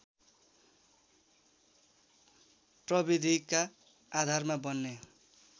प्रविधिका आधारमा बन्ने